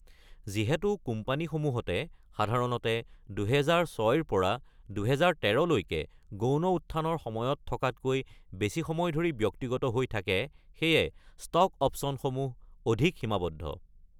যিহেতু কোম্পানীসমূহতে সাধাৰণতে ২০০৬-ৰ পৰা ২০১৩-লৈকে "গৌণ উত্থান"-ৰ সময়ত থকাতকৈ বেছি সময় ধৰি ব্যক্তিগত হৈ থাকে, সেয়ে ষ্টক অপ্চনসমূহ অধিক সীমাৱদ্ধ।